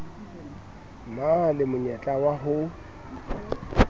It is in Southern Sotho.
na le monyetla wa ho